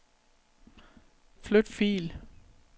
Flyt fil.